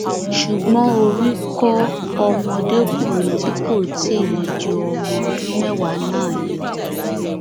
ṣùgbọn orí kọ ọmọdékùnrin tí kò tí ì le ju ọmọ ọdún mẹwàá náà yọ